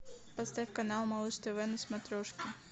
поставь канал малыш тв на смотрешке